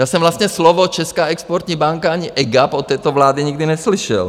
Já jsem vlastně slova Česká exportní banka ani EGAP od této vlády nikdy neslyšel.